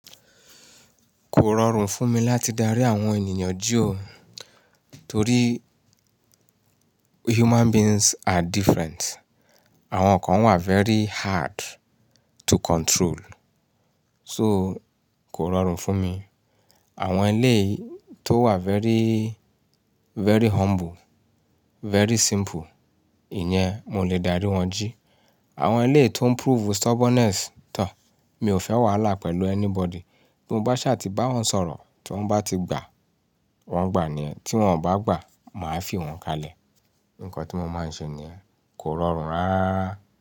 Kò rọrùn fún mi láti darí àwọn ènìyàn jí o. Torí human beings are different. Àwọn kan wà very hard to control. So kò rọrùn fún mi. Àwọn ẹlẹ́yìí tó wà very, very humble, very simple, ìyẹn mo lè darí wọn jí. Àwọn ẹlẹ́yìí tó ń prove stubbornness tán, mi ò fẹ́ wàhálà pẹ̀lú anybody. Bí mo bá ṣà ti bá wọn sọ̀rọ̀, tí wọ́n bá ti gbà, wọ́n gbà ni yẹn, tí wọ́n ò bá gbà, màá fi wọ́n kalẹ̀. Nǹkan tí mo máa ń ṣe ni yẹn. Kò rọrùn rárá rárà.